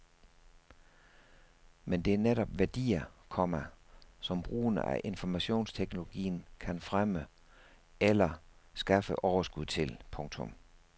Men det er netop værdier, komma som brugen af informationsteknologien kan fremme eller skaffe overskud til. punktum